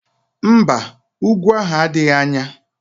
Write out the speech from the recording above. Mba, úgwú ahụ adịghị anya